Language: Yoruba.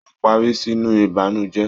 O parí sínú ìbànújẹ.